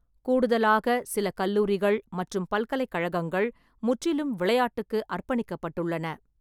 கூடுதலாக, சில கல்லூரிகள் மற்றும் பல்கலைக்கழகங்கள் முற்றிலும் விளையாட்டுக்கு அர்ப்பணிக்கப்பட்டுள்ளன.